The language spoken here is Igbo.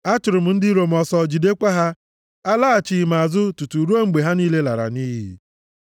Achụrụ m ndị iro m ọsọ, jidekwa ha; alaghachighị m azụ tutu ruo mgbe ha niile lara nʼiyi.